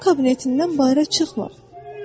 O kabinetindən bayıra çıxmır.